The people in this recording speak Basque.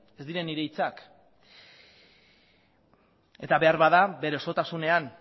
ez dira nire hitzak eta beharbada bere osotasunean